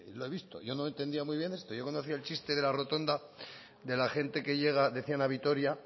lo he visto yo no entendía muy bien yo conocía el chiste de la rotonda de la gente que llega decían a vitoria